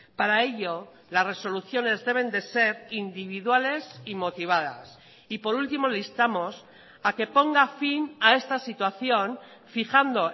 para ello las resoluciones deben de ser individuales y motivadas y por último le instamos a que ponga fin a esta situación fijando